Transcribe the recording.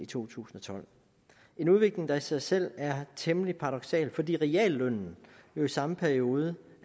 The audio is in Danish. to tusind og tolv en udvikling der i sig selv er temmelig paradoksal fordi reallønnen jo i samme periode